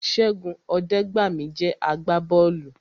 Ṣẹ́gun Ọdẹgbami jẹ́ àgbà bọ́ọ̀lù